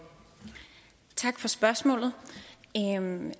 stemmer og